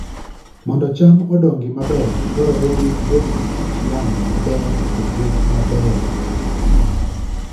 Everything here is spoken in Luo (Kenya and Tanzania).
Mondo cham odongi maber, dwarore ni obed gi kit yamo maber kod rit maber.